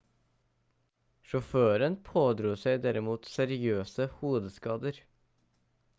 sjåføren pådro seg derimot seriøse hodeskader